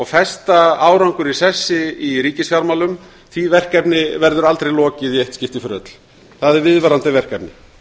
festa betur árangur í sessi í ríkisfjármálum verður aldrei lokið í eitt skipti fyrir öll það er viðvarandi verkefni